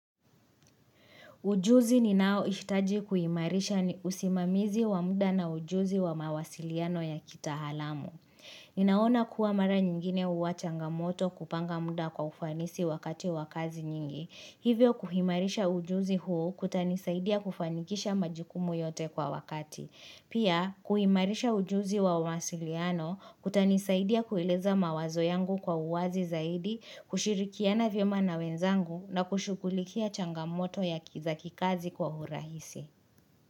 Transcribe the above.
Ujuzi ninaohitaji kuimarisha ni usimamizi wa muda na ujuzi wa mawasiliano ya kitahalamu. Ninaona kuwa mara nyingine uwa changamoto kupanga muda kwa ufanisi wakati wa kazi nyingi. Hivyo kuhimarisha ujuzi huo kutanisaidia kufanikisha majukumu yote kwa wakati. Pia, kuimarisha ujuzi wa umawasiliano kutanisaidia kueleza mawazo yangu kwa uwazi zaidi, kushirikiana vyema na wenzangu na kushughulikia changamoto ya ki za kikazi kwa hurahisi.